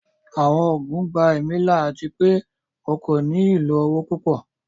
Àwọn oogun gbà ẹ̀mí là ati pẹ̀ o kò ní ilọ owo pupọ̀